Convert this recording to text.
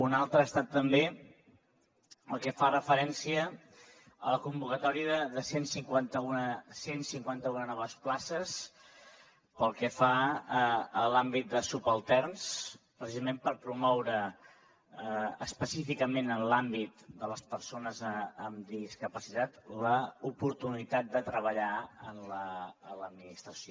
una altra ha estat també el que fa referència a la convocatòria de cent i cinquanta un noves places pel que fa a l’àmbit de subalterns precisament per promoure específicament en l’àmbit de persones amb discapacitat l’oportunitat de treballar a l’administració